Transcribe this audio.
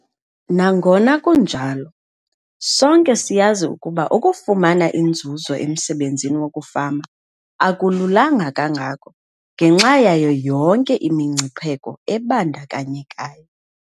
Nangona kunjalo, sonke siyazi ukuba ukufumana inzuzo emsebenzini wokufama akululanga kangako ngenxa yayo yonke imingcipheko ebandakanyekayo.